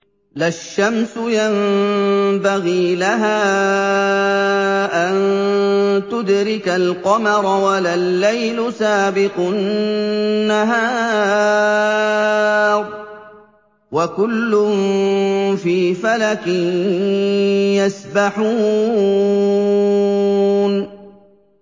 لَا الشَّمْسُ يَنبَغِي لَهَا أَن تُدْرِكَ الْقَمَرَ وَلَا اللَّيْلُ سَابِقُ النَّهَارِ ۚ وَكُلٌّ فِي فَلَكٍ يَسْبَحُونَ